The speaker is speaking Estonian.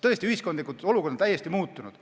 Tõesti, ühiskondlik olukord on täiesti muutunud.